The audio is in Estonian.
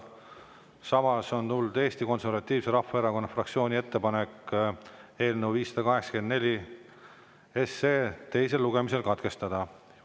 Samas on tulnud Eesti Konservatiivse Rahvaerakonna fraktsiooni ettepanek eelnõu 584 teisel lugemisel katkestada.